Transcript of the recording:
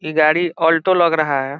ये गाड़ी अल्टो लग रहा है ।